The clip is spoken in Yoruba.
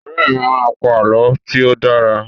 Ọ̀rẹ́ mi a máa pa àlọ́ tí ó dára